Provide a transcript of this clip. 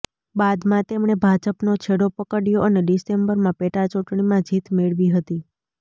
બાદમાં તેમણે ભાજપનો છેડો પકડ્યો અને ડિસેમ્બરમાં પેટાચૂંટણીમાં જીત મેળવી હતી